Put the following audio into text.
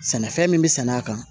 Sɛnɛfɛn min bɛ sɛnɛ a kan